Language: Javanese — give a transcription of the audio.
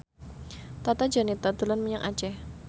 Tata Janeta dolan menyang Aceh